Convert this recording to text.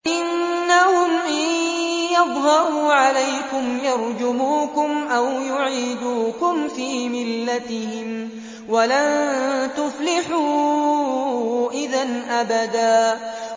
إِنَّهُمْ إِن يَظْهَرُوا عَلَيْكُمْ يَرْجُمُوكُمْ أَوْ يُعِيدُوكُمْ فِي مِلَّتِهِمْ وَلَن تُفْلِحُوا إِذًا أَبَدًا